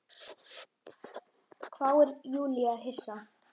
hváir Júlía hissa.